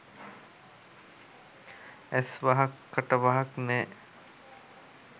ඇස් වහක් කට වහක් නෑ